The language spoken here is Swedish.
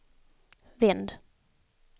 vänd